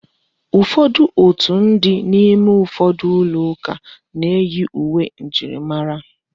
Ụfọdụ òtù ndị nọ n'ime ụfọdụ ụlọ ụka na-eyi uwe njirimara.